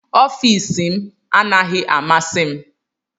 Ọfịs m anaghị amasị m